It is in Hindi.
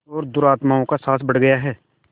और दुरात्माओं का साहस बढ़ गया है